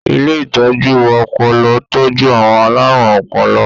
Ilé ìtọ́jú ọpọlọ tọ́jú àwọn alárùn ọpọlọ.